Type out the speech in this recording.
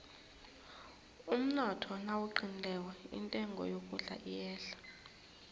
umnotho nawuqinileko intengo yokudla iyehla